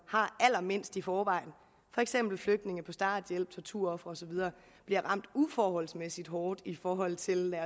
har allermindst i forvejen for eksempel flygtninge på starthjælp torturofre osv der bliver ramt uforholdsmæssigt hårdt i forhold til